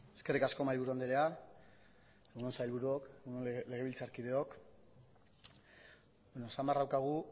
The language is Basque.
eskerrik asko mahaiburu andrea egun on sailburuok egun on legebiltzarkideok beno esan beharra daukagu